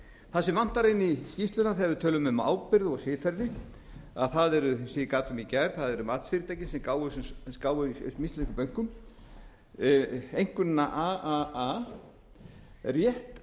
það sem vantar inn í skýrsluna þegar við tölum um ábyrgð og siðferði eins og ég gat um í gær eru matsfyrirtæki sem gáfu íslenskum bönkum einkunnina a a a rétt